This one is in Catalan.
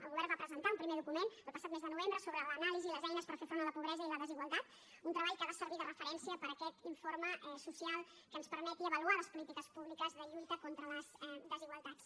el govern va presentar un primer document el passat mes de novembre sobre l’anàlisi les eines per fer front a la pobresa i la desigualtat un treball que ha de servir de referència per a aquest informe social que ens permeti avaluar les polítiques públiques de lluita contra les desigualtats